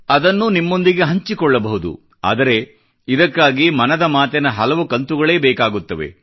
ಅದನ್ನು ನಿಮ್ಮೊಂದಿಗೆ ಹಂಚಿಕೊಳ್ಳಬಹುದು ಆದರೆ ಇದಕ್ಕಾಗಿ ಮನದ ಮಾತಿನ ಹಲವು ಕಂತುಗಳೇ ಬೇಕಾಗುತ್ತವೆ